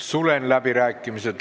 Sulgen läbirääkimised.